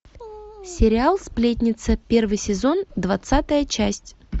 сериал сплетница первый сезон двадцатая часть